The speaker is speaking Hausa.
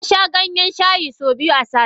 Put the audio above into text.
Nasha Ganyen shayi so biyu sati.